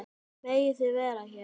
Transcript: Megið þið vera hér?